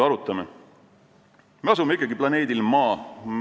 Me asume ikkagi planeedil Maa.